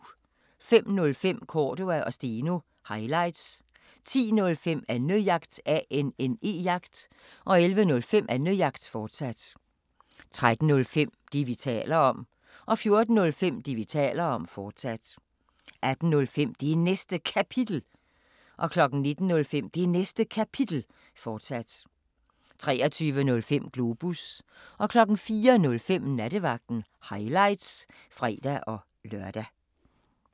05:05: Cordua & Steno – highlights 10:05: Annejagt 11:05: Annejagt, fortsat 13:05: Det, vi taler om 14:05: Det, vi taler om, fortsat 18:05: Det Næste Kapitel 19:05: Det Næste Kapitel, fortsat 23:05: Globus 04:05: Nattevagten – highlights (fre-lør)